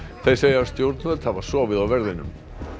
þeir segja stjórnvöld hafa sofið á verðinum